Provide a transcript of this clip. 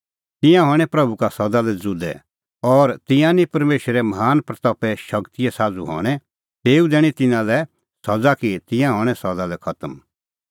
तिंयां हणैं प्रभू का सदा लै ज़ुदै और तिंयां निं परमेशरे महान महिमें शगतीए साझ़ू हणैं तेऊ दैणीं तिन्नां लै सज़ा कि तिंयां हणैं सदा लै खतम